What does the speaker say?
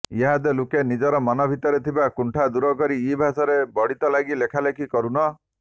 ଇହାଦେ ଲୁକେ ନିଜର ମନ ଭିତରେ ଥିବାର କୁଣ୍ଠା ଦୂରକରି ଇ ଭାଷାର ବଢ଼ତି ଲାଗି ଲେଖାଲେଖି କରୁନ